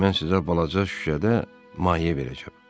Mən sizə balaca şüşədə maye verəcəm.